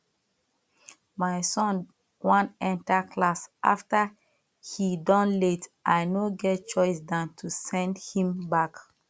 my son wan enter class after he don late i no get choice than to send him back